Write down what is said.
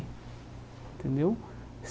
Entendeu?